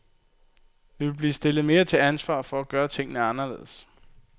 Vi vil blive stillet mere til ansvar for at gøre tingene anderledes.